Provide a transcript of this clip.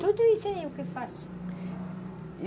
Tudo isso aí eu que faço. E